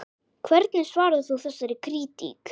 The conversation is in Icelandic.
Hvernig svarar þú þessari krítík?